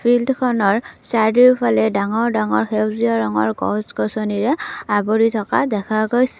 ফিল্ডখনৰ চাৰিওফালে ডাঙৰ ডাঙৰ সেউজীয়া ৰঙৰ গছ গছনিৰে আগুৰি থকা দেখা গৈছে।